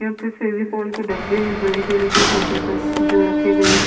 क्योंकी फेविकॉल के डब्बे है बड़े से लेके छोटे तक जो रखे गए है।